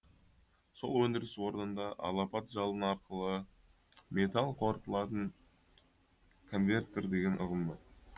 сол өндіріс орнында алапат жалын арқылы металл қорытылатын конвертер деген ұғым бар